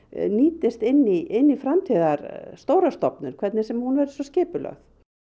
nýtist inn í inn í framtíðar stóra stofnun hvernig sem hún verður svo skipulögð